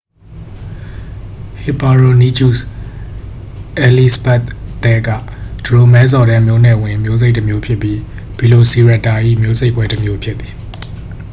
ဟစ်ပါရိုနီချုစ် အယ်လိဇဘတ်သဲက ဒရိုမဲဆော်ဒဲ မျိုးနွယ်ဝင် မျိုးစိတ်တစ်မျိုးဖြစ်ပြီး ဗီလိုစီရပ်တာ၏ မျိုးစိတ်ခွဲတစ်မျိုး ဖြစ်သည်